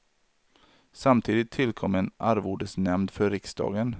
Samtidigt tillkom en arvodesnämnd för riksdagen.